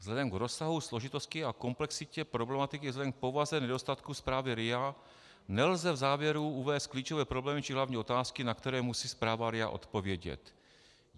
Vzhledem k rozsahu, složitosti a komplexitě problematiky, vzhledem k povaze nedostatku zprávy RIA nelze v závěru uvést klíčové problémy či hlavní otázky, na které musí zpráva RIA odpovědět.